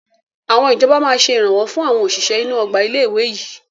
Àwọn ìjọba máa ṣe Ìrànwọ́ fún àwọn òṣìṣẹ́ inú Ọgbà ilé ìwé yìí